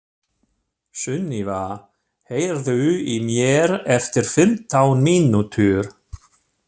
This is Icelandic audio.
Sunniva, heyrðu í mér eftir fimmtán mínútur.